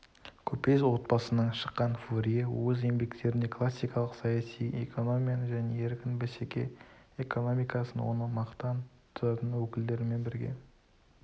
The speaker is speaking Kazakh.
көпес отбасынан шыққан фурье өз еңбектерінде классикалық саяси экономияны және еркін бәсеке экономикасын оны мақтан тұтатын өкілдерімен бірге